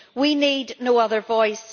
We need no other voice.